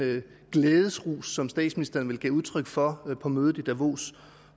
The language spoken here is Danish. glædesrus som statsministeren vel gav udtryk for på mødet i davos